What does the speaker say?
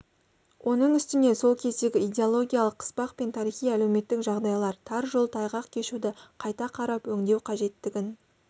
оның үстіне сол кездегі идеологиялық қыспақ пен тарихи әлеуметтік жағдайлар тар жол тайғақ кешуді қайта қарап өңдеу қажеттігін